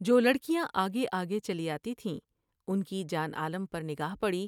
جولڑکیاں آگے آگے چلی آتی تھیں ، ان کی جان عالم پر نگاہ پڑی ۔